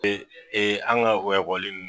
an ga o ekɔli nin